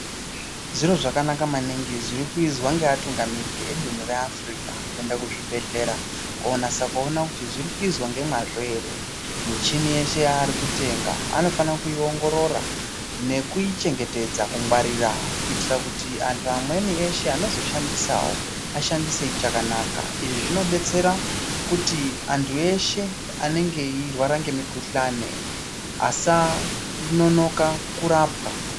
Zviro zvakanaka maningi zviri kuizwa ngevatungamiriri edunhu reAfirika kuenda kuzvibhedhlera konasa kuona kuti zviri kuzwa ngemwazvo ere. Michini yese yavari kutenga anofana kuiongorora nekuchengetedza, kungwarira kuitira kuti antu amweni eshe anozoishandisawoashandise ichakanaka. Izvi zvinodetsera kuti antu eshe anenge eirwara ngemikuhlani vasanonoke kurapwa.